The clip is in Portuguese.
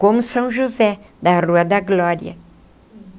Como São José, da Rua da Glória.